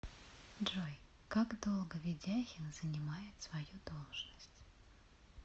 джой как долго ведяхин занимает свою должность